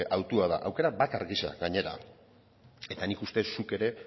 autua da aukera bakar gisa gainera eta nik uste zuk ere